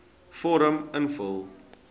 vorm invul